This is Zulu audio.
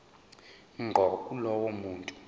ngqo kulowo muntu